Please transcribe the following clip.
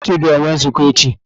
Ndị isi ọchịchị ga-enwe nzukọ echi.